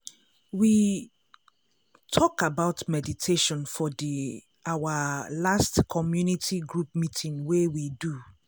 we talk about meditation for the our last community group meeting wey we do.